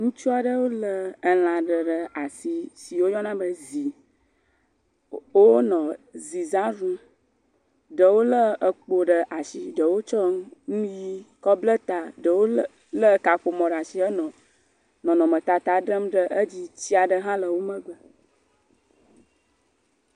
Ŋutsu aɖewo lé elã aɖe ɖe àsi si woyɔna be zi. Wonɔ zizã ɖum. Ɖewo lé ekpo ɖe ashi. Ɖewo tsɔ nu, nu ʋi kɔblɛ ta. Ɖewo lé, lé kaƒomɔ ɖe ashi henɔ nɔnɔmetata ɖem ɖe edzi. Tsi aɖe hã le wo megbe.